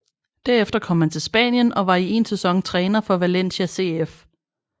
Derefter kom han til Spanien og var i én sæson træner for Valencia CF